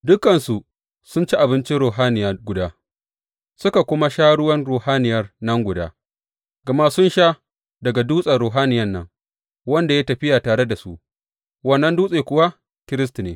Dukansu sun ci abincin ruhaniya guda suka kuma sha ruwan ruhaniyan nan guda; gama sun sha daga dutsen ruhaniya nan, wanda ya yi tafiya tare da su, wannan dutsen kuwa Kiristi ne.